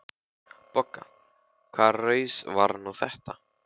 BOGGA: Hvaða raus var nú þetta?